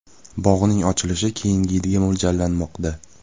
Bog‘ning ochilishi keyingi yilga mo‘ljallanmoqda.